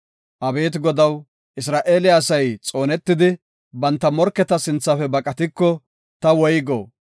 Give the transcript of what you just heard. Abeeti Godaw, Isra7eele asay xoonetidi, banta morketa sinthafe baqatiko, ta woygo?